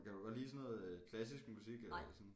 Kan du godt lide sådan noget klassisk musik eller sådan